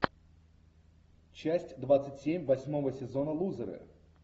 часть двадцать семь восьмого сезона лузеры